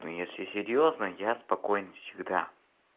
ну если серьёзно я спокоен всегда